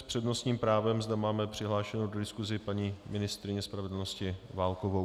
S přednostním právem zde máme přihlášenu do diskuse paní ministryni spravedlnosti Válkovou.